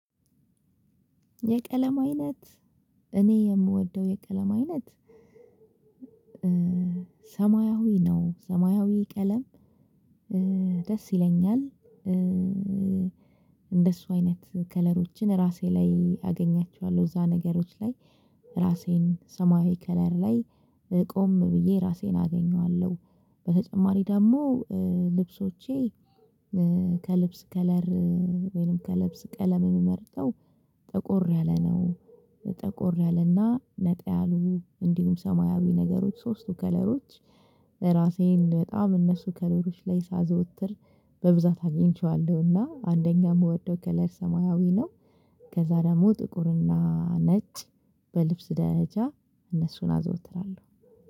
የቀለም አይነት እኔ የምወደው የቀለም አይነት ሰማያዊ ነው። ሰማያዊ ቀለም ደስ ይለኛል። እንደሱ አይነት ከለሮችን ራሴ ላይ አገኛቸዋለሁ እዛ ነገሮች ላይ ራሴን ሰማያዊ ከለር ላይ ቆም ብዬ ራሴን አገኘዋለሁ። በተጨማሪ ደግሞ ልብሶቼ ከልብስ ከለር ወይም ከልብስ ቀለም የምመርጠው ጠቆር ያለ ነው። ጠቆር ያለና ነጣ ያሉ እንዲሁም ሰማያዊ ነገሮች ሶስቱ ከለሮች ለራሴን በጣም እነሱ ከለሮች ላይ ሳዘወትር በብዛት አግኝቼዋለሁና አንደኛ ምወደው ከለር ሰማያዊ ነው። ከዛ ደግሞ ጥቁርና ነጭ በልብስ ደረጃ እነሱን አዘወትራለሁ።